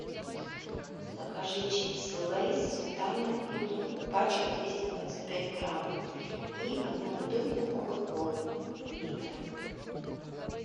закажи сипсы лейс сметана и лук пачка двести двадцать пять грамм и одну бутылку кока колы литр